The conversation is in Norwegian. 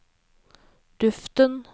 duften